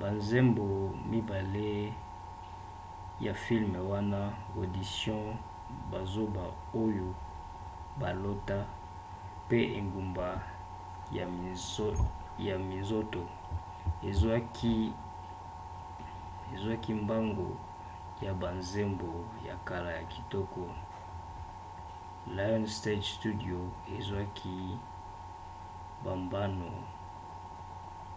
banzembo mibale ya fileme wana audition bazoba oyo balota pe engumba ya minzoto ezwaki mbango ya banzembo ya kala ya kitoko. lionsgate studio ezwaki bambano